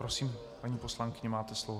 Prosím, paní poslankyně, máte slovo.